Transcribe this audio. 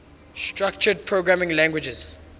structured programming languages